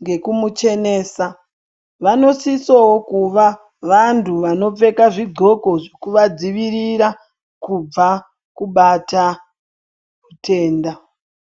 ngekumuchenesa, vanosisowo kuva vantu vanopfeka zvidxoko zvekuvavadzivirira kubva kubata zvitenda.